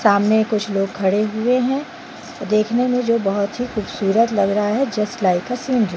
सामने कुछ लोग खड़े हुए है देखने में जो बहुत ही खूबसूरत लग रहा है जस्ट लाइक अ सीन --